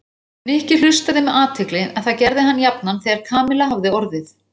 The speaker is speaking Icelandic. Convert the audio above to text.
Nikki hlustaði með athygli en það gerði hann jafnan þegar Kamilla hafði orðið.